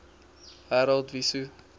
harold wesso